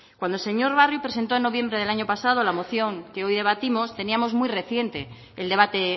cuando el señor barrio presentó en noviembre del año pasado la moción que hoy debatimos teníamos muy reciente el debate